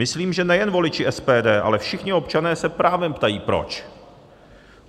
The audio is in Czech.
Myslím, že nejen voliči SPD, ale všichni občané se právem ptají proč.